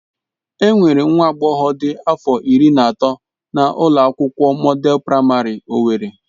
Enwere nwa agbọghọ dị afọ iri na atọ na ụlọ akwụkwọ Mọdel Praịmarị owerri.